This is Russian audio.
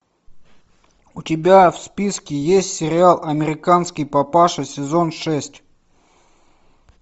у тебя в списке есть сериал американский папаша сезон шесть